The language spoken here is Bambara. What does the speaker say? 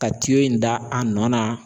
Ka in da a nɔ na.